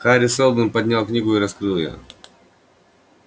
хари сэлдон поднял книгу и раскрыл её